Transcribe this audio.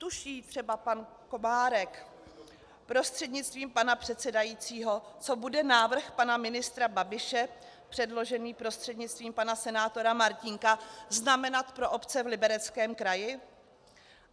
Tuší třeba pan Komárek prostřednictvím pana předsedajícího, co bude návrh pana ministra Babiše předložený prostřednictvím pana senátora Martínka znamenat pro obce v Libereckém kraji?